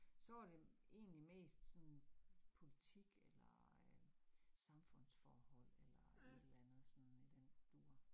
Så var det egentlig mest sådan politik eller øh samfundsforhold eller et eller andet sådan i den dur